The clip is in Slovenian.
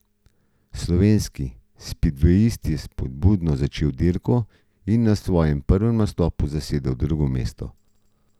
Slovenski spidvejist je spodbudno začel dirko in na svojem prvem nastopu zasedel drugo mesto.